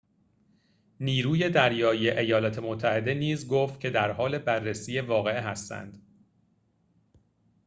نیروی دریایی ایالات متحده نیز گفت که درحال بررسی واقعه هستند